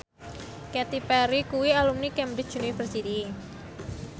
Katy Perry kuwi alumni Cambridge University